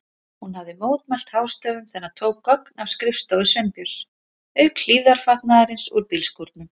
Hún hafði mótmælt hástöfum þegar hann tók gögn af skrifstofu Sveinbjörns, auk hlífðarfatnaðarins úr bílskúrnum.